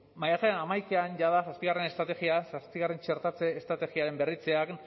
maiatzaren hamaikan jada zazpigarrena txertatze estrategiaren berritzean